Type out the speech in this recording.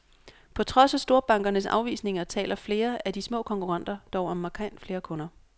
På trods af storbankernes afvisninger, taler flere af de små konkurrenter dog om markant flere kunder.